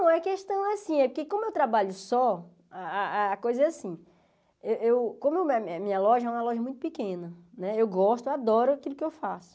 Não, é questão assim, é porque como eu trabalho só, a a a coisa é assim, eu eu como a minha loja é uma loja muito pequena né, eu gosto, eu adoro aquilo que eu faço.